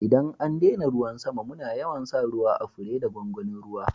ldan an daina ruwan sama muna yawan sa ruwa à fure da gwangwanin ruwa.